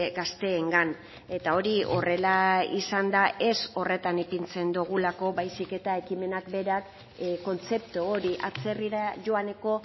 gazteengan eta hori horrela izan da ez horretan ipintzen dugulako baizik eta ekimenak berak kontzeptu hori atzerrira joaneko